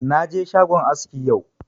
Na je shagon aski yau